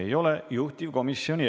Aitäh ja kohtumiseni homme!